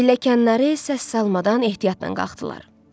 Pilləkənləri isə səs salmadan ehtiyatla qalxdılar.